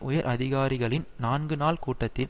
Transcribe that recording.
உயர் அதிகாரிகளின் நான்கு நாள் கூட்டத்தில்